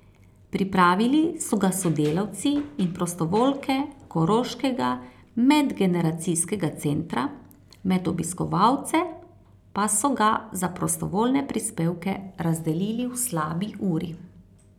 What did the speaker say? Pripravili so ga sodelavci in prostovoljke Koroškega medgeneracijskega centra, med obiskovalce pa so ga za prostovoljne prispevke razdelili v slabi uri.